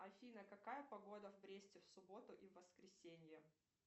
афина какая погода в бресте в субботу и в воскресенье